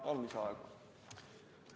Palun lisaaega!